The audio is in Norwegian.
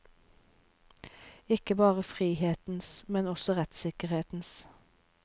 Ikke bare frihetens, men også rettssikkerhetens.